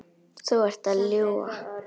Þú ert að ljúga!